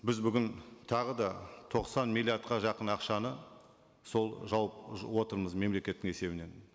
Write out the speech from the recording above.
біз бүгін тағы да тоқсан миллиардқа жақын ақшаны сол жауып отырмыз мемлекеттің есебінен